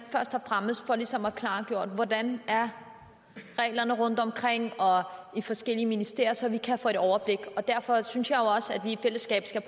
først og fremmest for ligesom at klargøre hvordan reglerne er rundtomkring i forskellige ministerier så vi kan få et overblik derfor synes jeg jo også at vi i fællesskab skal